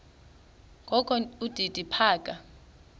kokho udidi phaka